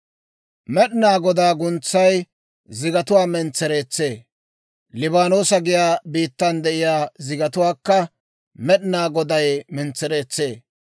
Med'inaa Godaa guntsay zigatuwaa mentsereetsee; Liibaanoosa giyaa biittan de'iyaa zigatuwaakka, Med'inaa Goday mentsereetsee.